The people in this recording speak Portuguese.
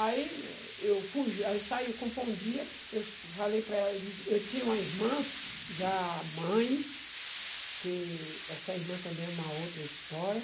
Aí eu e saí, eu falei para ela, eu disse, eu tinha uma irmã, já mãe, que essa irmã também é uma outra história,